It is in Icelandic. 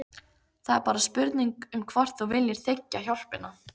Það er bara spurning um hvort þú viljir þiggja hjálpina.